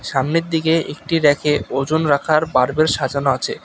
সামনের দিকে একটি রেকে ওজন রাখার মার্বেল সাজানো আছে।